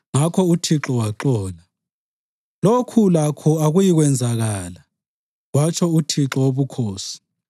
Ngakho uThixo waxola. “Lokhu lakho akuyikwenzakala,” kwatsho uThixo Wobukhosi.